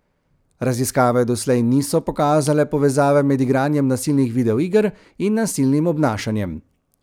Raziskave doslej niso pokazale povezave med igranjem nasilnih videoiger in nasilnim obnašanjem.